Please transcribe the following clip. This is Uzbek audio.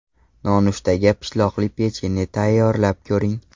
Nonushtaga pishloqli pechenye tayyorlab ko‘ring.